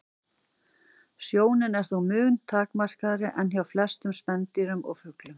Sjónin er þó mun takmarkaðri en hjá flestum spendýrum og fuglum.